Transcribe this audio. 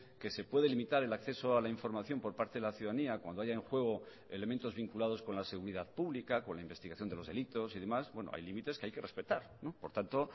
que se puede limitar el acceso a la información por parte de la ciudadanía cuando haya en juego elementos vinculados con la seguridad pública con la investigación de los delitos y demás hay límites que hay que respetar por tanto